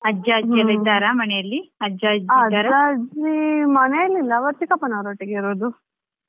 ಹಾ ಹುಷಾರಿದ್ದಾರೆ ಅಜ್ಜ ಅಜ್ಜಿ ಇದ್ದಾರಾ ನಿಮ್ಮ ಮನೆಯಲ್ಲಿ ಅಜ್ಜ ಅಜ್ಜಿ ಇದ್ದಾರಾ?